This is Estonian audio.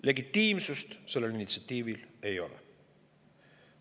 Legitiimsust sellel initsiatiivil ei ole.